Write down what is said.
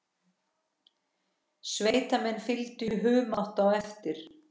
Sveitamenn fylgdu í humátt á eftir.